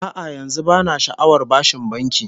A'a, yanzu bana sha'awar bashin banki